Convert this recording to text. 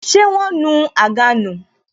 Ṣé wọn nu àga nù